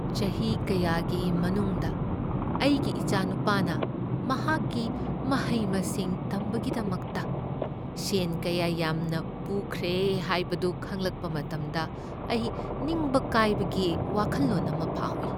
ꯆꯍꯤ ꯀꯌꯥꯒꯤ ꯃꯅꯨꯡꯗ ꯑꯩꯒꯤ ꯏꯆꯥꯅꯨꯄꯥꯅ ꯃꯍꯥꯛꯀꯤ ꯃꯍꯩ ꯃꯁꯤꯡ ꯇꯝꯕꯒꯤꯗꯃꯛꯇ ꯁꯦꯟ ꯀꯌꯥ ꯌꯥꯝꯅ ꯄꯨꯈ꯭ꯔꯦ ꯍꯥꯏꯕꯗꯨ ꯈꯪꯂꯛꯄ ꯃꯇꯝꯗ ꯑꯩ ꯅꯤꯡꯕ ꯀꯥꯏꯕꯒꯤ ꯋꯥꯈꯜꯂꯣꯟ ꯑꯃ ꯐꯥꯎꯏ꯫